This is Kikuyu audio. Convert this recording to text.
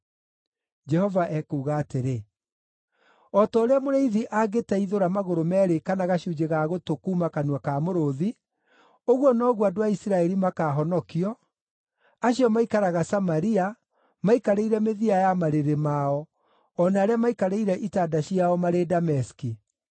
Jehova ekuuga atĩrĩ: “O ta ũrĩa mũrĩithi angĩteithũra magũrũ meerĩ kana gacunjĩ ga gũtũ kuuma kanua ka mũrũũthi, ũguo noguo andũ a Isiraeli makaahonokio, acio maikaraga Samaria maikarĩire mĩthia ya marĩrĩ mao, o na arĩa maikarĩire itanda ciao marĩ Dameski.”